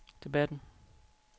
debatten